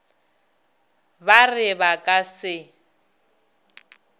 ba re ba ka se